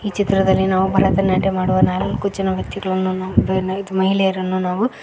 ಈ ಚಿತ್ರದಲ್ಲಿ ನಾವು ಭರತನಾಟ್ಯ ಮಾಡುವ ನಾಲ್ಕು ಜನ ವ್ಯಕ್ತಿಗಳನ್ನು ಮಹಿಳೆಯರನ್ನ ನಾವು --